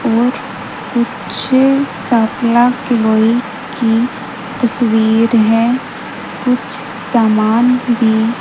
और कुछ सकला किलोई की तस्वीर है कुछ सामान भी--